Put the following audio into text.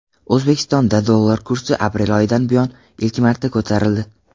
O‘zbekistonda dollar kursi aprel oyidan buyon ilk marta ko‘tarildi.